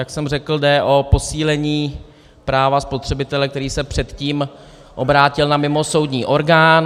Jak jsem řekl, jde o posílení práva spotřebitele, který se předtím obrátil na mimosoudní orgán.